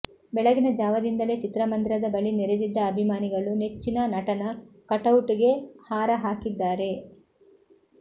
ಬೆಳಗಿನ ಜಾವದಿಂದಲೇ ಚಿತ್ರಮಂದಿರದ ಬಳಿ ನೆರೆದಿದ್ದ ಅಭಿಮಾನಿಗಳು ನೆಚ್ಚಿನ ನಟನ ಕಟೌಟ್ ಗೆ ಹಾರ ಹಾಕಿದ್ದಾರೆ